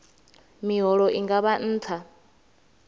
miholo i nga vha nṱha